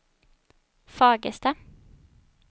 Fagersta